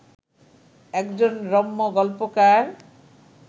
একজন রম্য গল্পকার